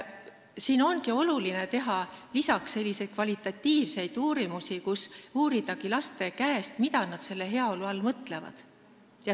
Siin ongi oluline teha lisaks kvalitatiivseid uurimusi ja uurida laste käest, mida nad heaolu all mõtlevad.